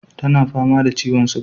Tana fama da ciwon suga